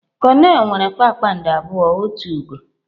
Konel nwere kpakpando abụọ otu ugo.